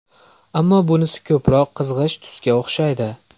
Ammo bunisi ko‘proq qizg‘ish tusga o‘xshaydi.